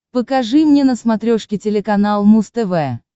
покажи мне на смотрешке телеканал муз тв